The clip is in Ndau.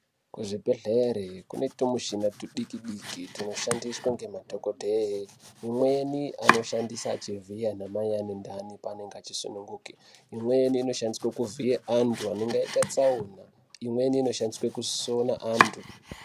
Kuzvibhedhlere kune tumushina tudiki diki tunoshandiswa ngemadhokodheye imweni anoshandisa achivhiya anamai anentani paanenge achisununguke imweni inoshandiswa kuvhiya antu anenge aita tsaona imweni inoshandiswa kusona antu.